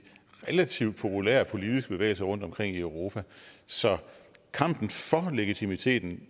relativt populære politiske bevægelser rundtomkring i europa så kampen for legitimiteten